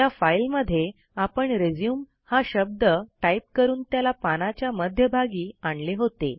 त्या फाईलध्ये आपण रिझ्यूम हा शब्द टाईप करून त्याला पानाच्या मध्यभागी आणले होते